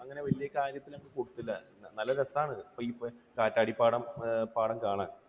അതിന് വലിയ പ്രാധാന്യം അങ്ങ് കൊടുത്തില്ല. നല്ല രസമാണ് ഈ കാറ്റാടിപ്പാടം കാണാൻ.